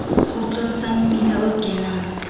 kgutlong sa mmila o kenang